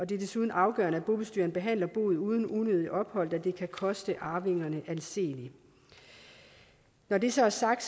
det er desuden afgørende at bobestyreren behandler boet uden unødigt ophold da det kan koste arvingerne anseligt når det så er sagt